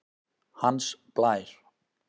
Hans Blær